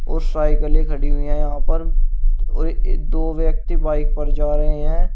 और साइकिलें खड़ी हुई हैं यहां पर और दो व्यक्ति बाइक पर जा रहे हैं।